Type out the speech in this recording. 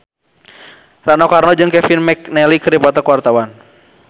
Rano Karno jeung Kevin McNally keur dipoto ku wartawan